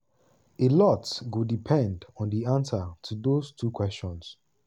alot go depend on di answer to dose two kwesions.